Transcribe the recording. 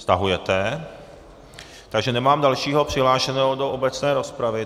Stahujete, takže nemám dalšího přihlášeného do obecné rozpravy.